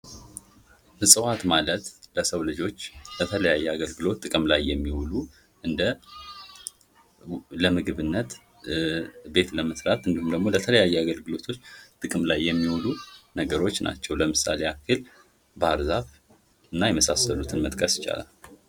እፅዋት ማለት ለሰው ልጆች ለተለያየ አገልግሎት ጥቅም ላይ የሚውሉ እንደ ለምግብነት ቤት ለመስራት እንዲሁም ደግሞ ለተለያየ አገልግሎቶች ጥቅም ላይ የሚውሉ ነገሮች ናቸው ለምሳሌ ያክል ባህርዛፍ እና የመሳሰሉትን መጥቀስ ይቻላል።